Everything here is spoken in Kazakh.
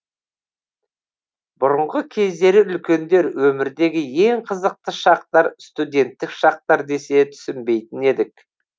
бұрынғы кездері үлкендер өмірдегі ең қызықты шақтар студенттік шақтар десе түсінбейтін едік